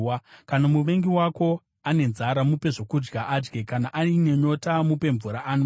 Kana muvengi wako ane nzara, mupe zvokudya adye; kana aine nyota, mupe mvura anwe.